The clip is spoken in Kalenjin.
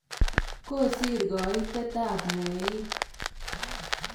Kosir kaitet ap mweik.